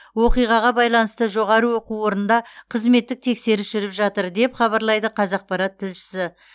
оқиғаға байланысты жоғары оқу орында қызметтік тексеріс жүріп жатыр деп хабарлайды қазақпарат тілшісі